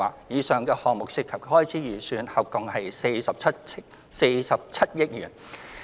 以上項目涉及的開支預算合共約47億元。